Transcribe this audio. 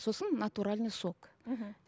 сосын натуральный сок мхм